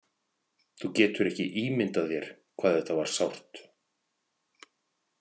Þú getur ekki ímyndað þér hvað þetta var sárt.